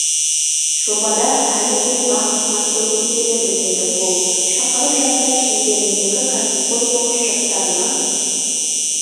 жобада әлі де бақ сынап көргім келеді деді ол шақырып жатса шеңберіндегі кәсіпқой бокс жастарына